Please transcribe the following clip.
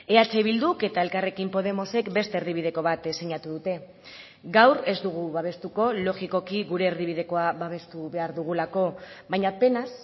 eh bilduk eta elkarrekin podemosek beste erdibideko bat sinatu dute gaur ez dugu babestuko logikoki gure erdibidekoa babestu behar dugulako baina penaz